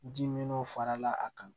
Ji min n'o farala a kan